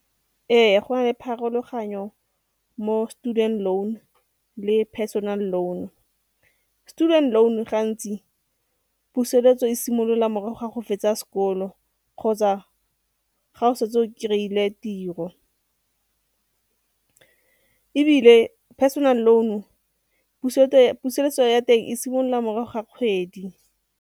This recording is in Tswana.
Ee, go na le pharologanyo mo student loan le personal loan. Student loan-u gantsi puseletso e simolola morago ga go fetsa sekolo kgotsa ga o setse o krey-ile tiro. Ebile personal loan-u puseletso ya teng e simolola morago ga kgwedi.